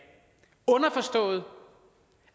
underforstået